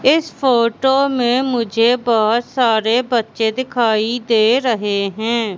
इस फोटो में मुझे बहोत सारे बच्चे दिखाई दे रहे हैं।